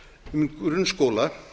um grunnskóla